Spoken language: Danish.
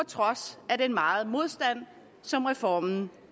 trods af den meget modstand som reformen